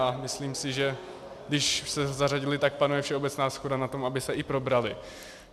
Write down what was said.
A myslím si, že když se zařadily, tak panuje všeobecná shoda na tom, aby se i probraly.